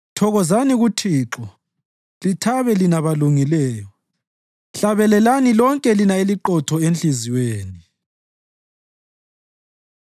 Thokozani kuThixo, lithabe lina balungileyo; hlabelelani lonke lina eliqotho enhliziyweni!